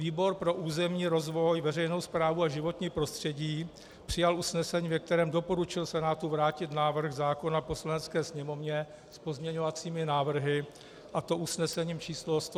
Výbor pro územní rozvoj, veřejnou správu a životní prostředí přijal usnesení, ve kterém doporučil Senátu vrátit návrh zákona Poslanecké sněmovně s pozměňovacími návrhy, a to usnesením číslo 119 z 18. května.